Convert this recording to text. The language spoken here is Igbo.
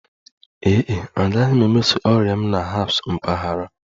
Ee e, agaghị m emeso ọrịa m na herbs mpaghara